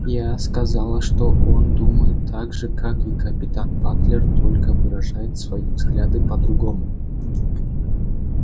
я сказала что он думает так же как и капитан батлер только выражает свои взгляды по-другому